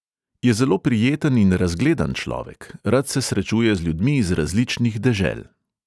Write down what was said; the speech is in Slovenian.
Je zelo prijeten in razgledan človek, rad se srečuje z ljudmi iz različnih dežel.